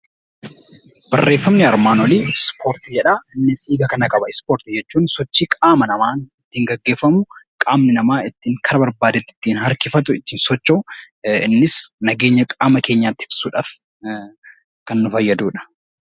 Barreeffamni armaan olii 'Ispoortii' jedhaa. Innis hiika kana qaba. Ispoortii jechuun sochii qaama namaa tiin geggeeffamu, qaamni namaa karaa ittiin barbaade tti ittiin harkifatu ittiin socho'u, innis nageenya qaama keenyaa tiksuu dhaaf kan nu fayyadu dha.